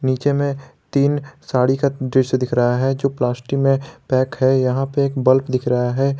नीचे में तीन साड़ी का दृश्य दिख रहा है जो प्लास्टिक में पैक है यहां पर एक बल्ब दिख रहा है।